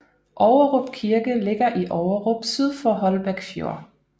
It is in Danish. Ågerup Kirke ligger i Ågerup syd for Holbæk Fjord